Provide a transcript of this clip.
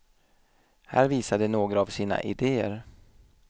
Här visar de några av sina idéer.